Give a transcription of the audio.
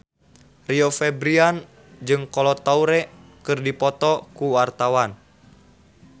Rio Febrian jeung Kolo Taure keur dipoto ku wartawan